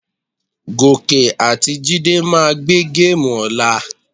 Gòkè àti Jídé máa gbé géèmù ọ̀la.